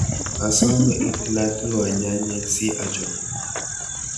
asome itilatilwa nyanyek si achop